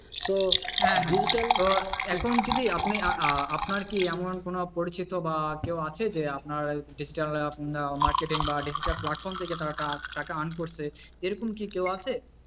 হ্যাঁ হ্যাঁ তো এখন কে আপনি আপনা আপনার কি এমন কোন পরিচিত বা কেও আছে যে আপনার digital marketing বা digital platform থেকে টাকা earn করছে, এরকম কি কেউ আছে,